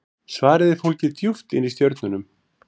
Svarið er fólgið djúpt inni í stjörnunum.